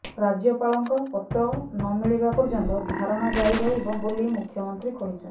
ରାଜ୍ୟପାଳଙ୍କ ପତ୍ର ନମିଳିବା ପର୍ଯ୍ୟନ୍ତ ଧାରଣା ଜାରି ରହିବ ବୋଲି ମୁଖ୍ୟମନ୍ତ୍ରୀ କହିଛନ୍ତି